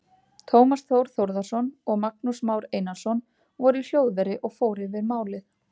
Tómas Þór Þórðarson og Magnús Már Einarsson voru í hljóðveri og fór yfir málin.